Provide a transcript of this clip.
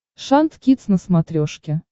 шант кидс на смотрешке